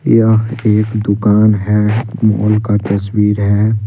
यह एक दुकान है मॉल का तस्वीर है।